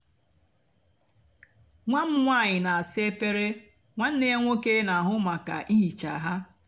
nwá m nwányị nà-àsa efere nwánné yá nwóké nà-àhụ mákà íhíchá hà.